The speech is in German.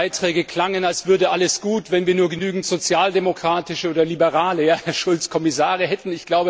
Einige Beiträge klangen, als würde alles gut, wenn wir nur genügend sozialdemokratische oder liberale ja, Herr Schulz Kommissare hätten.